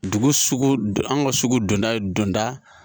Dugu sugu an ka sugu donda donda